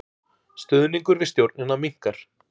Stuðningur við stjórnina minnkar